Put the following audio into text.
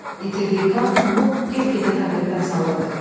İtirdiyi qan onu get-gedə taqətdən salırdı.